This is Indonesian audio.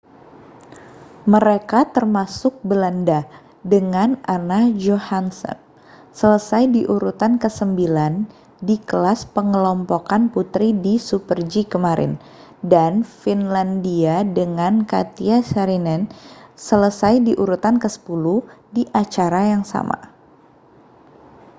mereka termasuk belanda dengan anna jochemsen selesai di urutan kesembilan di kelas pengelompokan putri di super-g kemarin dan finlandia dengan katja saarinen selesai di urutan kesepuluh di acara yang sama